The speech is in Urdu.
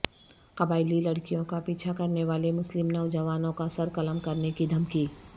قبائیلی لڑکیوں کا پیچھا کرنے والے مسلم نوجوانوں کا سرقلم کرنے کی دھمکی